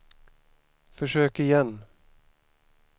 försök igen